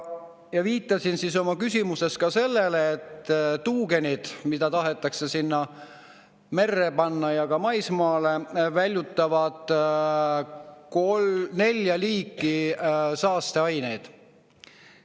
Ma viitasin oma küsimuses sellele, et tuugenid, mida tahetakse panna merre ja ka maismaale, väljutavad nelja liiki saasteaineid.